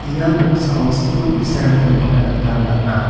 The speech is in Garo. ia noksao skul bi·sarangko nikna gita man·a.